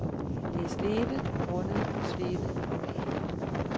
Det er slebet, grundet, slebet og malet.